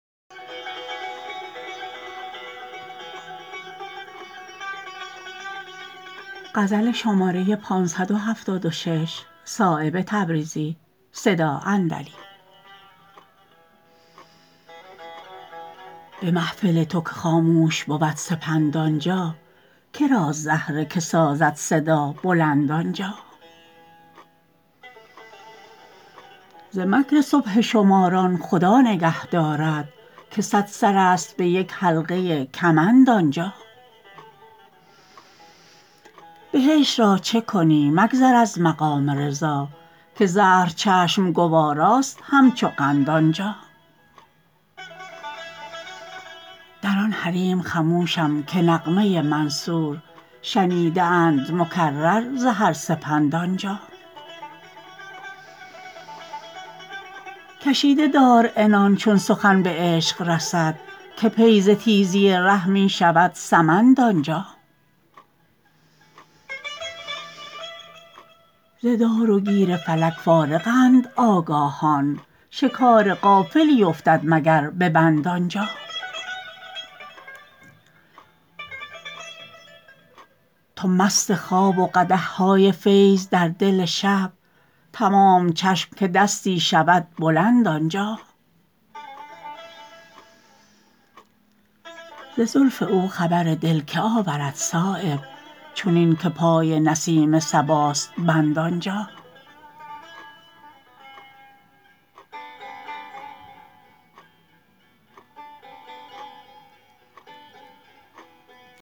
به محفل تو که خاموش بود سپند آنجا کراست زهره که سازد صدا بلند آنجا ز مکر سبحه شماران خدا نگه دارد که صد سرست به یک حلقه کمند آنجا بهشت را چه کنی مگذر از مقام رضا که زهر چشم گواراست همچو قند آنجا در آن حریم خموشم که نغمه منصور شنیده اند مکرر ز هر سپند آنجا کشیده دار عنان چون سخن به عشق رسد که پی ز تیزی ره می شود سمند آنجا ز دار و گیر فلک فارغند آگاهان شکار غافلی افتد مگر به بند آنجا تو مست خواب و قدح های فیض در دل شب تمام چشم که دستی شود بلند آنجا ز زلف او خبر دل که آورد صایب چنین که پای نسیم صباست بند آنجا